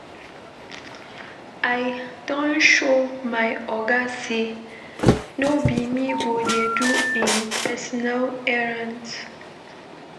I don show my oga sey no be me go dey do im personal errands.